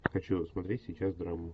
хочу смотреть сейчас драму